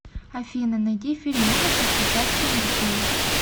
афина найди фильм ужасов с участием детей